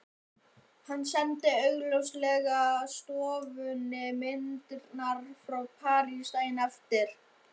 Hann sendi auglýsingastofunni myndirnar frá París daginn eftir.